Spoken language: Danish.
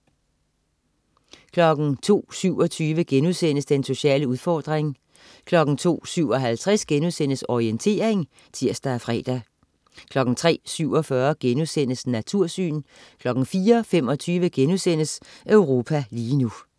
02.27 Den sociale udfordring* 02.57 Orientering* (tirs og fre) 03.47 Natursyn* 04.25 Europa lige nu*